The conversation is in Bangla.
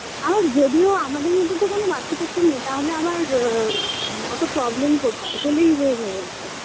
আর যদিও আমাদের মধ্যে তো কোন বাচ্চা-কাচ্চা নেই তাহলে আবার অ্যা অতো problem কোথায় এগোলেই হয়ে যাবে একদম